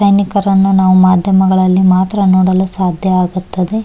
ಸೈನಿಕರನ್ನು ನಾವು ಮಾಧ್ಯಮಗಳಲ್ಲಿ ಮಾತ್ರ ನೋಡಲು ಸದ್ಯ ಆಗುತ್ತದೆ .